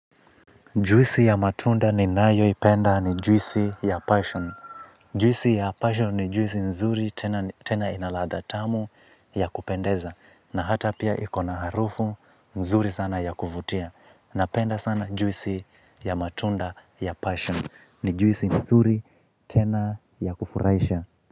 Juisi ya matunda ni nayo ipenda ni juisi ya passion. Juisi ya passion ni juisi nzuri tena inaladha tamu ya kupendeza. Na hata pia ikona harufu nzuri sana ya kuvutia. Napenda sana juisi ya matunda ya passion ni juisi nzuri tena ya kufuraisha.